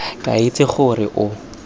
ke a itse gore o